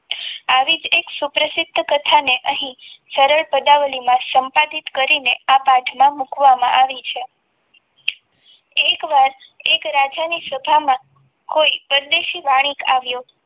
આવી જ એક સુપ્રસિદ્ધ કથા ને અહીં સરળ પદાવલીમાં સંપાદિત કરીને આ પાઠમાં મૂકવામાં આવી છે. એકવાર એક રાજા ની સભામાં કોઈ પરદેશી વાણિકા આવ્યો હતો.